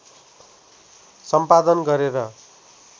सम्पादन गरेर